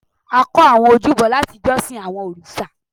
a kọ́ àwọn ojúbọ láti jọ́sìn àwọn òrìṣà